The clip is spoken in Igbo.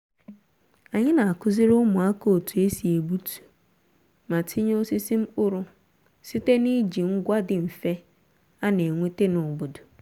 anyị na-akụziri ụmụaka otu e si egbutu ma tinye osisi mkpụrụ site n'iji ngwa dị mfe a na-enweta n'obodo